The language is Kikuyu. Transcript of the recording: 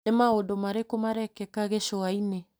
Nĩ maũndũ marĩkũ marekĩka Gĩcũa-inĩ ?